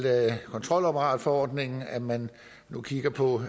kontrolapparatforordningen nemlig at man nu kigger på